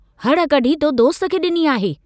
हड़ कढी तो दोस्त खे डिनी आहे।